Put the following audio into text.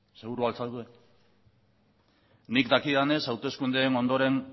seguru al zaude nik dakidanez hauteskundeen ondoren